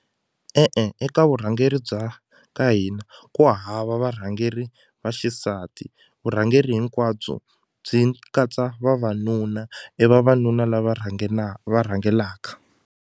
E-e eka vurhangeri bya ka hina ku hava varhangeri va xisati vurhangeri hinkwabyo byi katsa vavanuna i vavanuna la va va rhangelaka.